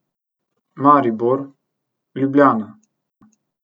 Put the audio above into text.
Maribor, Ljubljana.